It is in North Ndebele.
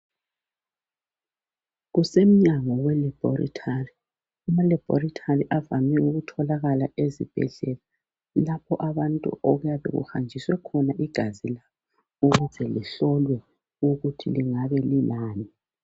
Kusemunyanyo we labholithali, emalabholithali kuvame ukutholakala ezibhedlela. Lapho abantu okuyabe kuhanjiswe khona igazi ukuze lihlolwe ukuthi lingabe lilani.